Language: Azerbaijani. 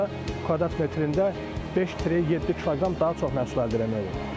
Burda kvadrat metrində 5-7 kiloqram daha çox məhsul əldə eləmək olur.